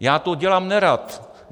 Já to dělám nerad.